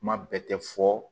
Kuma bɛɛ tɛ fɔ